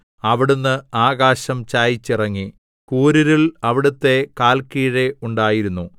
അവിടുന്ന് ആകാശം ചായിച്ചിറങ്ങി കൂരിരുൾ അവിടുത്തെ കാല്ക്കീഴിലുണ്ടായിരുന്നു